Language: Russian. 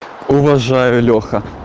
уважаю леха